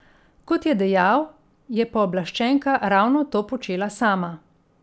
Kot je dejal, je pooblaščenka ravno to počela sama.